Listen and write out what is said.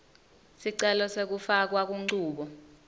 sicelo sekufakwa kunchubo